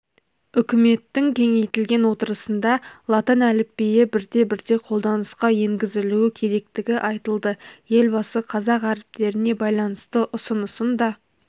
үкіметтің кеңейтілген отырысында латын әліпбиі бірте-бірте қолданысқа енгізілуі керектігі айтылды елбасы қазақ әріптеріне байланысты ұсынысын да